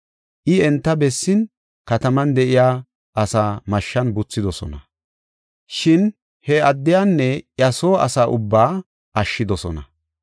I enta bessin kataman de7iya asaa mashshan buthidosona; shin he addiyanne iya soo asa ubbaa ashshidosona.